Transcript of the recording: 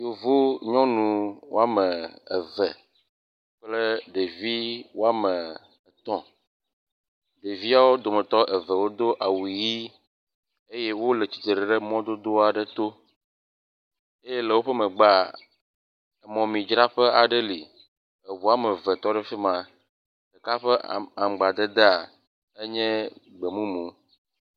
Yevu nyɔnu wome eve kple ɖevi woame etɔ̃, ɖevia wodometɔ eve wodo awu ʋi eye wole tsitsri ɖe mɔdodo aɖe to eye le woƒe megbea mɔmemi dzraƒe aɖe li, eŋu woameve tɔ ɖe fi ma, ɖeka ƒe aŋgbadedea enye gbe mumu